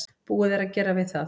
Búið er að gera við það.